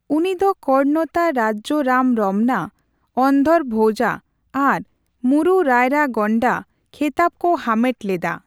ᱩᱱᱤ ᱫᱚ 'ᱠᱚᱨᱚᱱᱚᱛᱟ ᱨᱟᱡᱽᱡᱚ ᱨᱟᱢ ᱨᱚᱢᱱᱟ', 'ᱚᱱᱫᱷᱚᱨᱚ ᱵᱷᱳᱡᱟ' ᱟᱨ 'ᱢᱩᱨᱩ ᱨᱟᱭᱨᱟ ᱜᱚᱱᱰᱟ' ᱠᱷᱮᱛᱟᱵ ᱠᱚ ᱦᱟᱢᱮᱴ ᱞᱮᱫᱟ ᱾